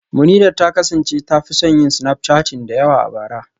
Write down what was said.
Munirat ta kasance ta fi son yin snapchatting da yawa a bara